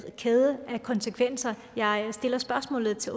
kæde af konsekvenser jeg stiller spørgsmålet til